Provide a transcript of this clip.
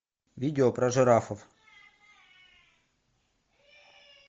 видео про жирафов